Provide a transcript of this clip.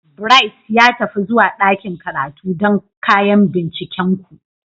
Bright, ya tafi zuwa ɗakin karatu don kayan bincikenku.